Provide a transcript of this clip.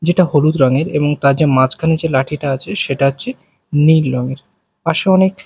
যেটা হলুদ রঙের এবং তার যে মাঝখানে যে লাঠিটা আছে সেটা হচ্ছে নীল রঙের পাশে অনেক--